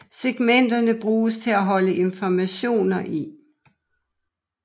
Segmenterne bruges til at holde informationer i